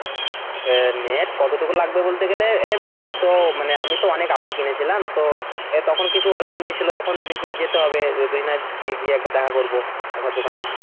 Net কতটুকু লাগবে বলতে গেলে এবার আমি তো মানে আমি তো অনেক আগে কিনেছিলাম তো তখন কিছু অল্প নিয়েছিল এখন দেখি যেতে হবে দুইজনে গিয়ে একবার দেখা করবো কাকার দোকানে।